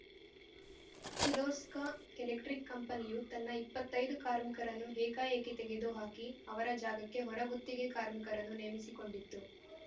Kirloskar electric ಕಂಪನಿಯು ತನ್ನ ಇಪ್ಪತ್ತೈದು ಕಾರ್ಮಿಕರನ್ನು ಏಕಾಏಕಿ ತೆಗೆದುಹಾಕಿ ಅವರ ಜಾಗಕ್ಕೆ ಹೊರಗುತ್ತಿಗೆ ಕಾರ್ಮಿಕರನ್ನು ನೇಮಿಸಿಕೊಂಡಿತ್ತು